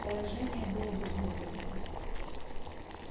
положение было безвыходное